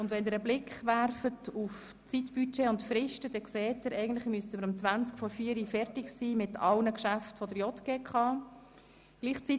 Wenn Sie einen Blick auf das Zeitbudget und die Fristen werfen, stellen Sie fest, dass wir um 15.40 Uhr eigentlich alle Geschäfte der JGK zu Ende beraten haben sollten.